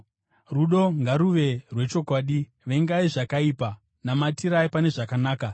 Rudo ngaruve rwechokwadi. Vengai zvakaipa; namatirai pane zvakanaka.